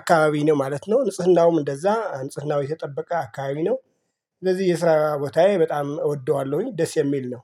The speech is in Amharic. አካባቢ ነው ማለት ነው። ንጽህናውም እንደዛ ንጽህናው የተጠበቀ አካባቢ ነው። ስለዚህ የስራ ቦታዬ በጣም እወደዋለሁኝ ደስ የሚል ነው።